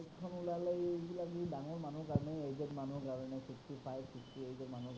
ওলালে এইবিলাক এই ডাঙৰ মানুহৰ কাৰণে aged মানুহৰ কাৰণে, sixty five sixty eight ৰ মানুহৰ।